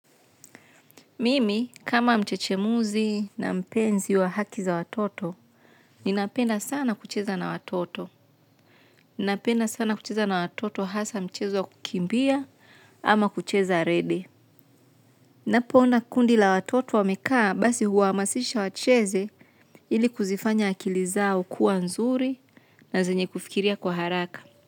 Mimi, kama mchechemuzi na mpenzi wa haki za watoto, ninapenda sana kucheza na watoto. Ninapenda sana kucheza na watoto hasa mchezo ya kukimbia ama kucheza rede. Ninapoona kundi la watoto wamekaa basi huwahamasisha wacheze ili kuzifanya akili zao kuwa nzuri na zenye kufikiria kwa haraka.